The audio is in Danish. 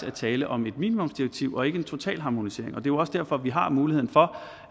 er tale om et minimumsdirektiv og ikke en totalharmonisering og jo også derfor at vi har mulighed for